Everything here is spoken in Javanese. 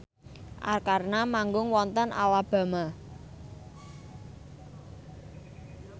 Arkarna manggung wonten Alabama